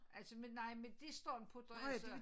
Altså men nej medisteren putter jeg så